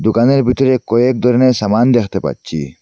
দোকানের ভিতরে কয়েক দরনের সামান দেখতে পাচ্ছি।